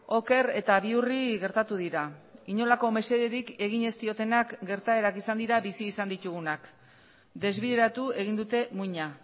oker eta bihurri gertatu dira inolako mesederik egin ez diotenak gertaerak izan dira bizi izan ditugunak desbideratu egin dute muina